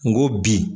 N go bi